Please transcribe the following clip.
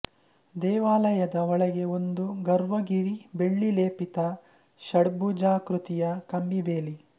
ದೇವಾಲಯದ ಒಳಗೆ ಒಂದು ಗರ್ವ್ ಗಿರಿ ಬೆಳ್ಳಿ ಲೇಪಿತ ಷಡ್ಭುಜಾಕೃತಿಯ ಕಂಬಿಬೇಲಿ